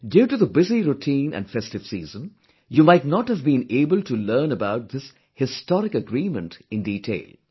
Due to the busy routine and festive season, you might not have been able to learn about this historic agreement in detail